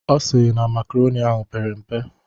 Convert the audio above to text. Ọ sịrị na makaronị ahụ pere mpe.